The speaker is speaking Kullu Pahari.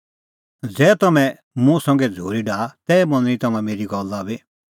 ज़ै तम्हैं मुंह संघै झ़ूरी डाहा तै मनणी तम्हां मेरी गल्ला बी